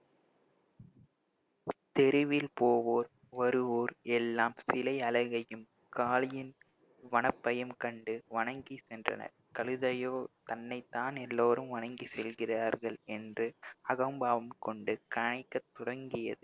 தெருவில் போவோர் வருவோர் எல்லாம் சிலை அழகையும் காளியின் வனப்பையும் கண்டு வணங்கிச்சென்றனர் கழுதையோ தன்னைத்தான் எல்லோரும் வணங்கி செல்கிறார்கள் என்று அகம்பாவம் கொண்டு கனைக்கத் தொடங்கியது